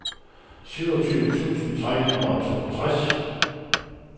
syvogtyve tusind tre hundrede og toogtres